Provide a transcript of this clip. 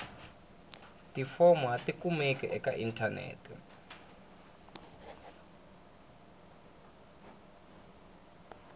tifomo a tikumeki eka inthanete